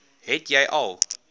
het jy al